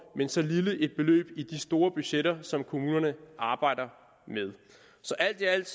men så lille et beløb i de store budgetter som kommunerne arbejder med så alt i alt